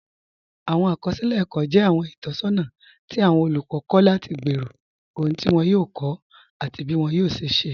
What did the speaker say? Awọn akọsilẹ ẹkọ jẹ awọn itọsọna ti awọn olukọ kọ lati gbẹ́rọ̀ ọhun ti wọn yòò kọ́, ati bí wọn yòò ṣẹ̀ ṣẹ̀.